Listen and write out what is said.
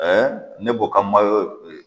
ne b'o ka